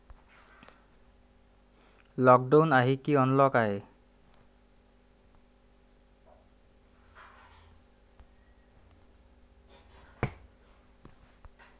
Lockdown आहे की unlock आहे?